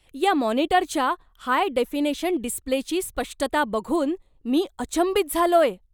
या मॉनिटरच्या high definition डिस्प्लेची स्पष्टता बघून मी अचंबित झालोय.